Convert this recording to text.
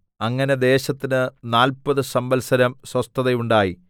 അങ്ങനെ ദേശത്തിന് നാല്പതു സംവത്സരം സ്വസ്ഥത ഉണ്ടായി